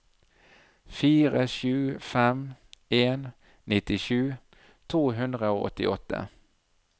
fire sju fem en nittisju to hundre og åttiåtte